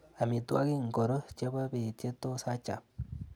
Amitwagik ingoro chebo beet che tos achap?